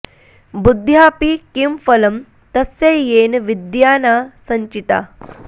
बुद्ध्याऽपि किं फलं तस्य येन विद्या न सञ्चिता